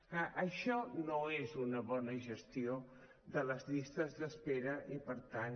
clar això no és una bona gestió de les llistes d’espera i per tant